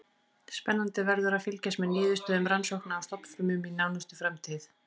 Spennandi verður að fylgjast með niðurstöðum rannsókna á stofnfrumum í nánustu framtíð.